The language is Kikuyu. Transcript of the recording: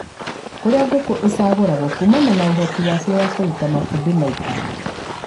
kũrĩa ngũkũ icagũragwo kũmana na ũhoti wacio wa kũruta matumbĩ maingĩ